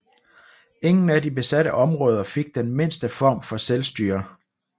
Ingen af de besatte områder fik den mindste form for selvstyre